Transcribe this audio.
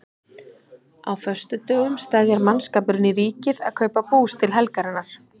Á föstudögum steðjar mannskapurinn í Ríkið að kaupa bús til helgarinnar.